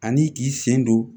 Ani k'i sen don